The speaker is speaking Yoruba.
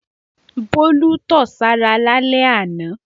Bólú tọ̀ sára lálẹ́ àná.